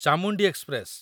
Chamundi express